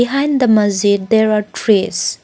behind the masjid there are trees.